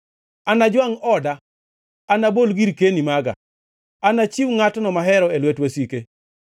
“Anajwangʼ oda, anabol girkeni maga; anachiw ngʼatno mahero e lwet wasike.